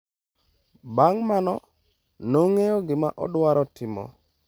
Bang’ mano, nong’eyo gima odwaro timo.